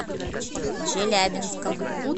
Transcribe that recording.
челябинском